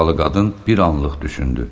Amerikalı qadın bir anlıq düşündü.